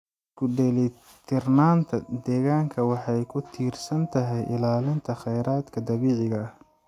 Isku dheellitirnaanta deegaanka waxay ku tiirsan tahay ilaalinta kheyraadka dabiiciga ah.